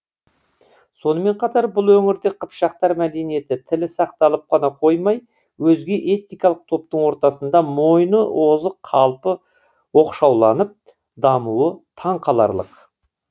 сонымен қатар бұл өңірде қыпшақтар мәдениеті тілі сақталып қана қоймай өзге этникалық топтың ортасында мойыны озық қалпы оқшауланып дамуы таңқаларлық